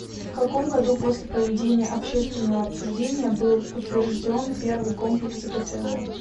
в каком году после проведения общественного обсуждения был утвержден первый комплекс гто